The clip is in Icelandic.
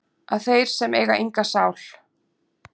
að þeir sem eiga enga sál